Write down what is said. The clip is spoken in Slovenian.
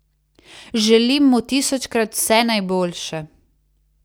Želim mu tisočkrat vse najboljše!